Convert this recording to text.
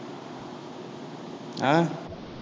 ஆஹ்